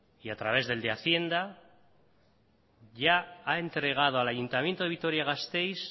y a través del de hacienda ya ha entregado al ayuntamiento de vitoria gasteiz